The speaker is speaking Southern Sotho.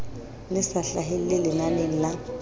le sa hlahelle lenaneng la